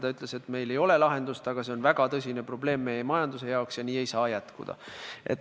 Ta ütles, et neil ei ole lahendust, aga et see on nende majanduse jaoks väga tõsine probleem ja nii ei saa jätkuda.